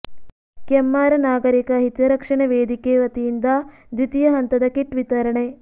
ಕೆಮ್ಮಾರ ನಾಗರಿಕ ಹಿತರಕ್ಷಣಾ ವೇದಿಕೆ ವತಿಯಿಂದ ದ್ವಿತೀಯ ಹಂತದ ಕಿಟ್ ವಿತರಣೆ